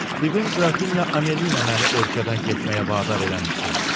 Bibim Grafinya Amelina məni ölkədən getməyə vadar eləmişdi.